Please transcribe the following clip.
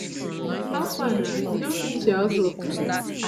how far na you don finish your house work today